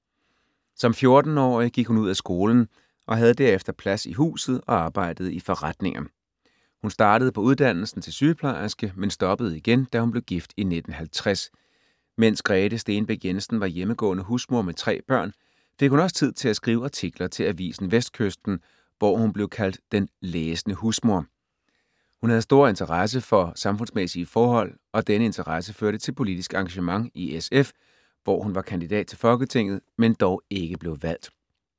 Som 14-årig gik hun ud af skolen og havde derefter plads i huset og arbejdede i forretninger. Hun startede på uddannelsen til sygeplejerske, men stoppede igen, da hun blev gift i 1950. Mens Grete Stenbæk Jensen var hjemmegående husmor med tre børn, fik hun også tid til at skrive artikler til avisen Vestkysten, hvor hun blev kaldt Den læsende husmor. Hun havde en stor interesse for samfundsmæssige forhold og denne interesse førte til politisk engagement i SF, hvor hun var kandidat til folketinget, men dog ikke blev valgt.